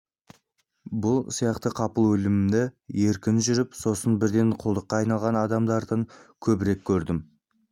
бұл сияқты қапыл өлімді еркін жүріп сосын бірден құлдыққа айналған адамдардан көбірек көрдім